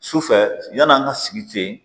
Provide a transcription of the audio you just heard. Sufɛ yann'an ka sigi ten